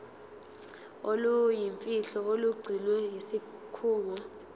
oluyimfihlo olugcinwe yisikhungo